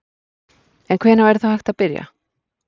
En hvenær væri þá hægt að byrja?